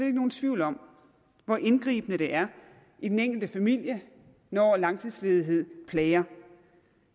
ikke nogen tvivl om hvor indgribende det er i den enkelte familie når langtidsledighed plager